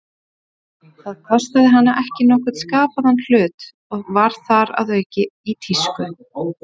Það kostaði hana ekki nokkurn skapaðan hlut, og var þar að auki í tísku.